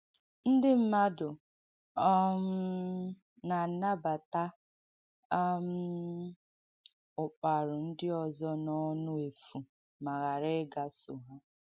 Ndị mmadụ um na-ànàbàta um ụ̀kpàrū ndị ọ̀zọ̀ n’ọ̀nụ́ èfū ma ghara ịgàsọ̀ ha.